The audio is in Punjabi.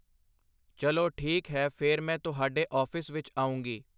ਚਲੋ ਠੀਕ ਹੈ ਫਿਰ ਮੈਂ ਤੁਹਾਡੇੇ ਔਫਿਸ 'ਚ ਆਉਂਗੀ